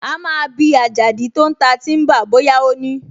A máa bi Àjàdí tó ń ta tíḿbà bóyá ó ní